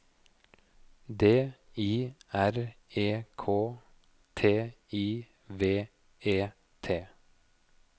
D I R E K T I V E T